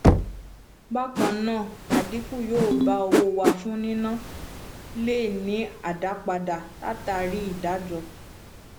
bákannáà adinku yó bá owó wà fún níná le ni adapada látàrí ìdájọ